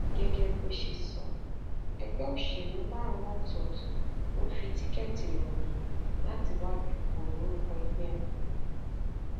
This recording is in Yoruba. gẹgẹ bó ṣe sọ ẹgbẹ òṣèlú márùnún ọtọọtọ ló ń fi tíkẹẹtì lọ mí láti wàá dúpọ lórúkọ ẹgbẹ wọn